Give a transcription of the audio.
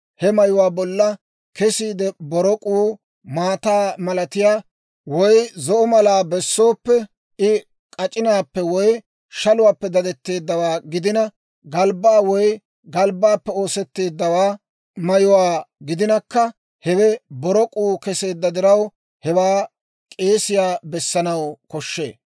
he mayuwaa bolla kesiidde borok'uu maataa malatiyaa woy zo'o malaa bessooppe, I k'ac'inaappe woy shaluwaappe dadetteeddawaa gidina, galbbaa woy galbbaappe oosetteedda mayuwaa gidinakka, hewe borok'uu keseedda diraw, hewaa k'eesiyaa bessanaw koshshee.